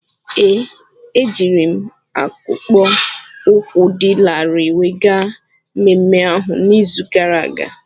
Ee, ejiri m akpụkpọ ụkwụ dị larịị wee gaa mmemme ahu n'izu gara aga.